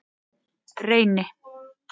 Reyni